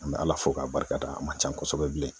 N me bɛ ala fo k'a barika da a man ca kosɛbɛ bilen